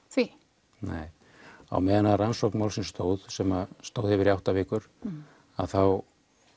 því nei á meðan á rannsókn málsins stóð sem stóð yfir í átta vikur þá